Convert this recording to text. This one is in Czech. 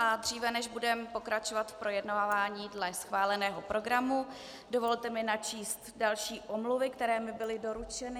A dříve než budeme pokračovat v projednávání dle schváleného programu, dovolte mi načíst další omluvy, které mi byly doručeny.